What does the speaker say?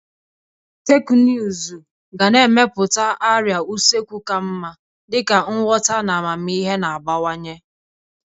Teknụzụ ga na-emepụta arịa usekwu ka mma dịka nghọta na amamihe na-agbawanye.